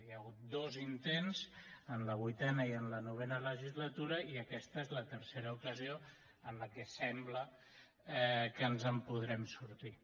hi ha hagut dos intents en la vuitena i en la novena legislatura i aquesta és la tercera ocasió en què sembla que ens en podrem sortir